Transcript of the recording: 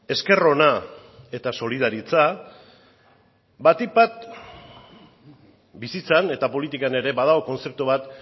esker ona eta solidaritza batik bat bizitzan eta politikan ere badago kontzeptu bat